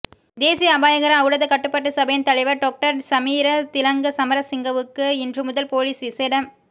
தேசிய அபாயகர ஒளடத கட்டுப்பாட்டுச் சபையின் தலைவர் டொக்டர் சமீர திலங்க சமரசிங்கவுக்கு இன்று முதல் பொலிஸ் விசேட